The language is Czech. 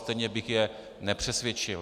Stejně bych je nepřesvědčil.